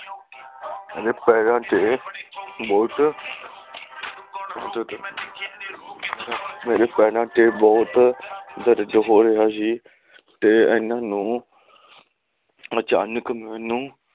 ਮੇਰੇ ਪੈਰਾਂ ਤੇ ਬਹੁਤ ਮੇਰੇ ਪੈਰਾਂ ਤੇ ਬਹੁਤ ਦਰਦ ਹੋ ਰਿਹਾ ਸੀ ਤੇ ਇਹਨਾਂ ਨੂੰ ਅਚਾਨਕ ਮੈਨੂੰ